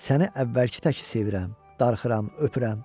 Səni əvvəlki təki sevirəm, darıxıram, öpürəm.